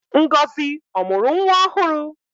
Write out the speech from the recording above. Ngozi ọ mụrụ nwa ọhụrụ?